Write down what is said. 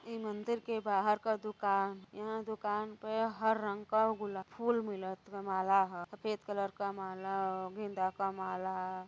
ई मंदिर के बाहर क दुकान। यहाँ दुकान प हर रंग क गुल-फूल मिलत बा। माला ह सफ़ेद कलर क माला ह। गेंदा क माला --